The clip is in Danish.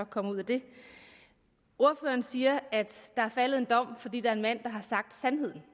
kommer ud af det ordføreren siger at der er faldet en dom fordi der er en mand der har sagt sandheden